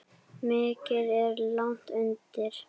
Mikið er lagt undir.